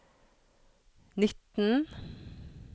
nitten